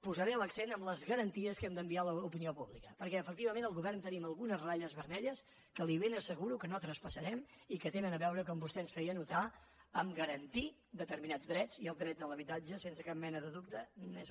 posaré l’accent en les garanties que hem d’enviar a l’opinió pública perquè efectivament el govern tenim algunes ratlles vermelles que li ben asseguro que no traspassarem i que tenen a veure com vostè ens feia anotar amb garantir determinats drets i el dret de l’habitatge sense cap mena de dubte n’és un